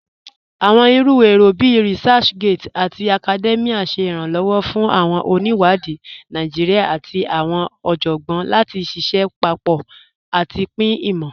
Awọn iru èrò bíí ResearchGate àti Academia ṣè iranlọwọ́ fún awọn oníwádì Naijíríà àti awọn ọjọ́gbọn láti ṣíṣẹ̀ papọ̀ àti pin imọ.